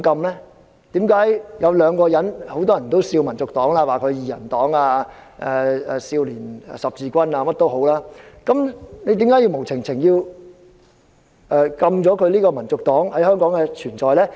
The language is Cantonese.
很多人取笑香港民族黨為"二人黨"、少年十字軍等，為何要無故禁制香港民族黨在香港的存在？